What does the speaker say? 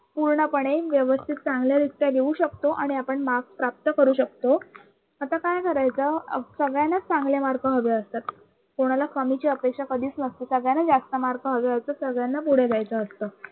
पूर्णपणे व्यवस्थित चांगल्यारीत्या देऊ शकतो. आणि आपण marks प्राप्त करू शकतो. आता काय करायचं सगळ्यांनाच चांगले mark हवे असतात. कोणाला कमीची अपेक्षा कधीच नसते सगळ्यांना जास्त mark हवे होते. सगळ्यांना पुढे जायचं असत.